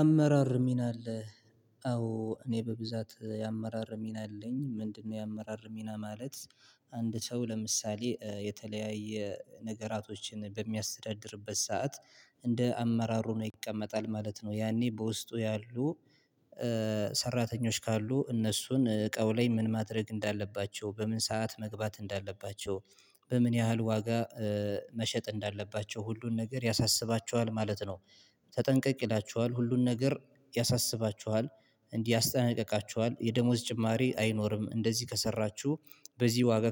አመራር ሚና አለህ አዎ እኔ በብዛት የአመራር ሚና አለኝ። ምንድነው የአመራር ሚና ማለት? አንድ ሰው ለምሳሌ የተለያየ ነገራቶችን በሚያስተዳድርበት ሰዓት እንደ አመራሩ ነው ይቀመጣል ማለት ነው። ያኔ በውስጡ ያሉ ሰራተኞች ካሉ እነሱን እቃው ላይ ምን ማድረግ እንዳለባቸው በምን ሰዓት መግባት እንዳለባቸው በምን ያህል ዋጋ መሸጥ እንዳለባቸው ሁሉን ነገር ያሳስባቸዋል ማለት ነው። ተጠንቀቅ ይላቸዋል ሁሉን ነገር ያሳስባችኋል እንዲህ ያስጠነቅቃችኋል የደሞዝ ጭማሪ አይኖርም እንደዚህ ከሰራችሁ በዚህ ዋጋ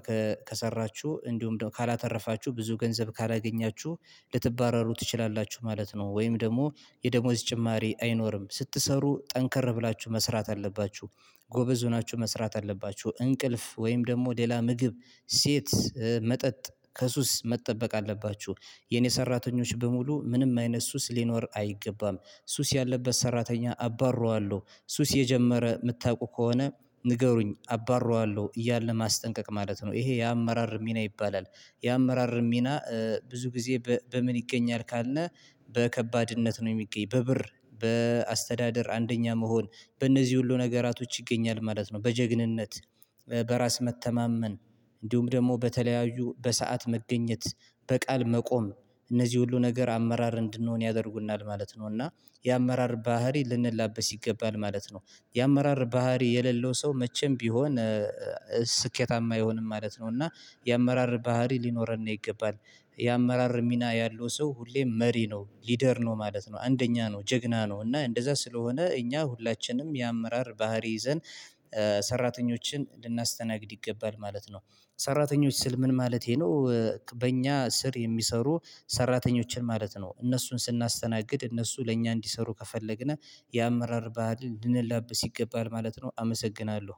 ከሰራችሁ እንዲሁም ካላተረፋችሁ ብዙ ገንዘብ ካላገኛችሁ ልትባረሩ ትችላላችሁ ማለት ነው። ወይም ደግሞ የደሞዝ ጭማሪ አይኖርም ስትሰሩ ጠንከር ብላችሁ መስራት አለባችሁ ጎበዝ ሆናችሁ መስራት አለባችሁ እንቅልፍ ወይም ደግሞ ሌላ ምግብ ሴት መጠጥ ከሱስ መጠበቅ አለባችሁ። የኔ ሰራተኞች በሙሉ ምንም አይነት ሱስ ሊኖር አይገባም ሱስ ያለበት ሰራተኛ አባርረዋለሁ ሱስ የጀመረ የምታውቁ ከሆነ ንገሩኝ አባረዋለሁ እያለ ማስጠንቀቅ ማለት ነው። ይሄ የአመራር ሚና ይባላል። የአመራር ሚና ብዙ ጊዜ በምን ይገኛል ካልነ በከባድነት ነው የሚገኝ በብር በአስተዳደር አንደኛ መሆን በእነዚህ ሁሉ ነገራቶች ይገኛል ማለት ነው። በጀግንነት በራስ መተማመን እንዲሁም ደግሞ በተለያዩ በሰአት መገኘት በቃል መቆም እነዚህ ሁሉ ነገር አመራር እንድንሆን ያደርጉናል ማለት ነው። እና የአመራር ባህሪ ልንላበስ ይገባል ማለት ነው። የአመራር ባህሪ የሌለው ሰው መቼም ቢሆን ስኬታማ አይሆንም ማለት ነው። እና የአመራር ባህሪ ሊኖረን ነው ይገባል የአመራር ሚና ያለው ሰው ሁሌም መሪ ነው ሊደር ነው ማለት ነው። አንደኛ ነው ጀግና ነው እና እንደዛ ስለሆነ እኛ ሁላችንም የአመራር ባህሪ ይዘን ሰራተኞችን ልናስተናግድ ይገባል ማለት ነው። ሰራተኞች ስል ምን ማለቴ ነው? በእኛ ስር የሚሰሩ ሰራተኞችን ማለት ነው እነሱን ስናስተናግድ እነሱ ለእኛ እንዲሰሩ ከፈለግን የአመራር ባህልን ልንላበስ ይገባል ማለት ነው። አመሰግናለሁ